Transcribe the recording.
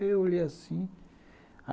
Eu olhei assim.